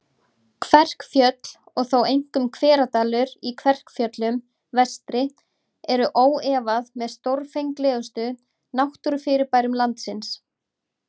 Kverkfjöll, og þó einkum Hveradalur í Kverkfjöllum vestri, eru óefað með stórfenglegustu náttúrufyrirbærum landsins.